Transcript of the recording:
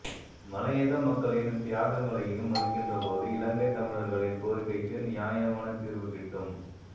மலையக மக்களின் தியாகங்களையும் மதிக்கின்றபோதே இலங்கைத் தமிழர்களின் கோரிக்கைக்கு நியாயமான தீர்வு கிட்டும்